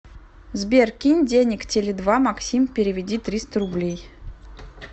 сбер кинь денег теле два максим переведи триста рублей